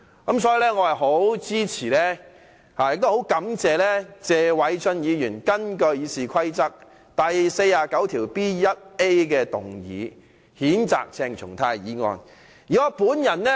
我十分支持也很感謝謝偉俊議員根據《議事規則》第 49B 條動議譴責鄭松泰的議案。